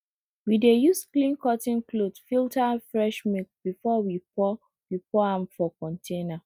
we dey use clean cotton cloth filter fresh milk before we pour we pour am for container